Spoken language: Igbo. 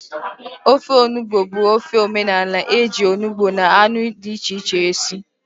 Ofe onugbụ bụ ofe omenala eji onugbụ na anụ dị iche iche esi